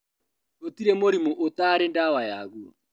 Gũtirĩ mũrimũ ũtaarĩ na ndawa yaguo